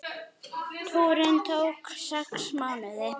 Túrinn tók sex mánuði.